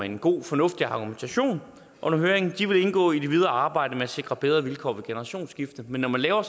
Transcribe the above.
en god fornuftig argumentation under høringen indgå i det videre arbejde med at sikre bedre vilkår ved generationsskifte men når man laver